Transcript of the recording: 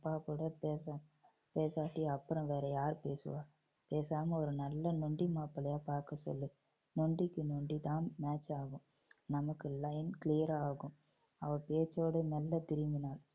அப்பா கூட பேச~ பேசாட்டி அப்புறம் வேற யாரு பேசுவா. பேசாம ஒரு நல்ல நொண்டி மாப்பிள்ளையா பாக்க சொல்லு நொண்டிக்கு நொண்டி தான் match ஆகும். நமக்கு line clear ஆகும். அவ பேச்சோடு மெல்ல திரும்பினாள்